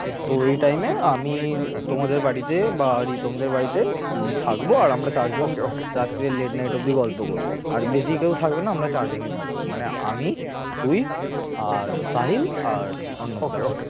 তো এই time এ আমি তোমাদের বাড়িতে বা রিতমদের বাড়িতে উম থাকব আর আমরা চারজন রাত্তিরে late night অব্দি গল্প করব আর বেশি কেউ থাকবে না আমরা চারজনই থাকবো মানে আমি তুই আর সাহিল আর অর্ণব দা